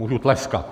Můžu tleskat.